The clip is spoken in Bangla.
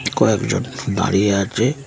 কয়েকজন দাঁড়িয়ে আছে --